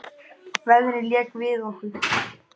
Veðrið lék við okkur.